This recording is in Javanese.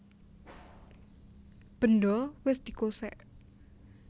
Bendho wis dikosèk